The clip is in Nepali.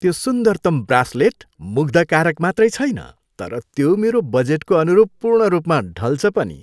त्यो सुन्दरतम ब्रासलेट मुग्धकारक मात्रै छैन तर त्यो मेरो बजेटको अनुरूप पूर्णरूपमा ढल्छ पनि।